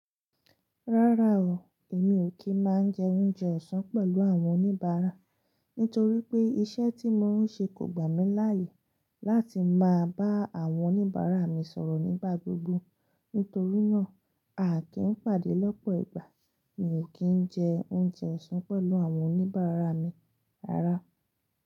Rárá o, èmi ò kí ń máa jẹ oúnjẹ ọ̀sán pẹ̀lú àwọn oníbàárà nítorí pé iṣẹ́ tí mò ń ṣe kò gbà mí láàyè láti máa bá àwọn oníbàárà mi sọ̀rọ̀ nígbà gbogbo. Nítorí náà, a kì í n pàdé lọ́pọ̀ ìgbà, mi ò kí ń jẹ oúnjẹ ọ̀sán pẹ̀lú àwọn oníbàárà mi rárá.